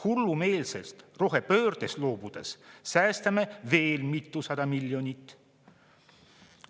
Hullumeelsest rohepöördest loobudes säästame veel mitusada miljonit.